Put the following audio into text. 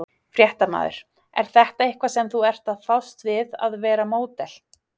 Fréttamaður: er þetta eitthvað sem þú ert að fást við að vera módel?